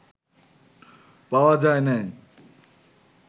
পাওয়া যায় নাই